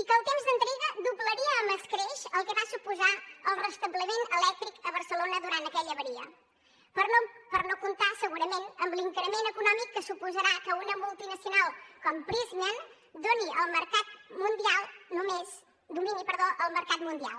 i que el temps d’entrega doblaria amb escreix el que va suposar el restabliment elèctric a barcelona durant aquella avaria per no comptar segurament amb l’increment econòmic que suposarà que una multinacional com prysmian domini el mercat mundial